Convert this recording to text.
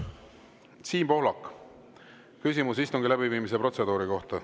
Siim Pohlak, küsimus istungi läbiviimise protseduuri kohta.